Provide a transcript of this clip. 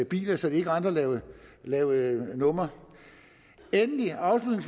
biler så de ikke rendte og lavede lavede numre endelig og